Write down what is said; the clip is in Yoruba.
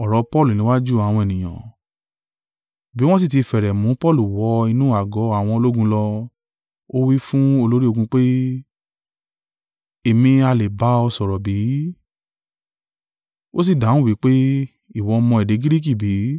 Bí wọ́n sì tí fẹ́rẹ̀ mú Paulu wọ inú àgọ́ àwọn ológun lọ, ó wí fún olórí ogun pé, “Èmi ha lè bá ọ sọ̀rọ̀ bí?” Ó sì dáhùn wí pé, “Ìwọ mọ èdè Giriki bí?